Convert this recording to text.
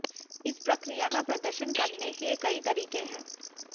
इस प्रक्रिया का प्रदर्शन करने के कई तरीके हैं